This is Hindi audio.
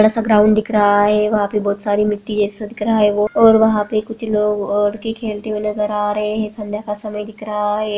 बड़ा सा ग्राउंड दिख रहा है यहाँ बहुत सारी मिटटी है और पे वहाँ कुछ लोग लड़के खेलते हुए नजर आ रहे है। संध्या का समय दिख रहा है।